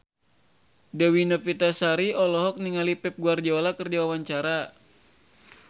Dewi Novitasari olohok ningali Pep Guardiola keur diwawancara